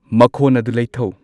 ꯃꯈꯣꯟ ꯑꯗꯨ ꯂꯩꯊꯧ